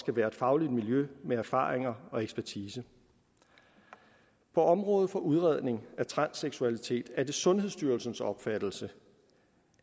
være et fagligt miljø med erfaring og ekspertise på området for udredning af transseksualitet er det sundhedsstyrelsens opfattelse